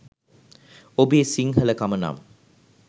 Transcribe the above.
ඔබේ සිංහල කම නම්